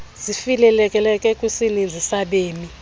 zifikeleleke kwisininzi sabemi